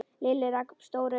Lilli rak upp stór augu.